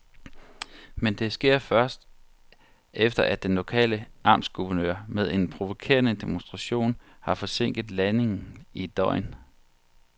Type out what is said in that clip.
Men det sker først, efter at den lokale amtsguvernør med en provokerende demonstration har forsinket landingen i et døgn.